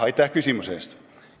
Aitäh küsimuse eest!